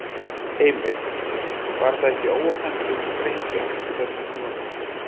Heimir: Var það ekki óhentug sprengja á þessum tímapunkti?